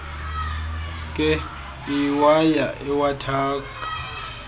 nkee iwaya iwathaka